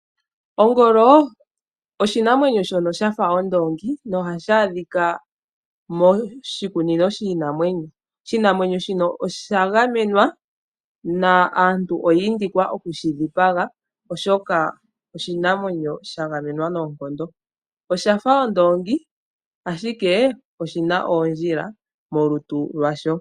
Ongolo oshinamwenyo shoka shafa ondongi no ha shi adhika moshikunino shiinamwenyo. Ongolo oya gamenwa naantu inayuuthwa yeyi dhipange, oshinamwenyo shika oshina oondjila molutu lwasho.